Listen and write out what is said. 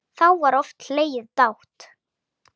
Þá var oft hlegið dátt.